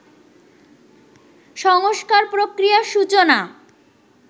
সংস্কার-প্রক্রিয়ার সূচনা